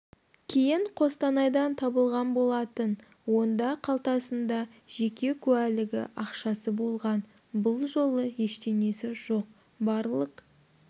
кейін қостанайдан табылған болатын онда қалтасында жеке куәлігі ақшасы болған бұл жолы ештеңесі жоқ барлық